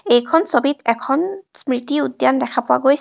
এইখন ছবিত এখন স্মৃতি উদ্যান দেখা পোৱা গৈছ--